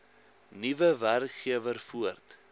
nuwe werkgewer voort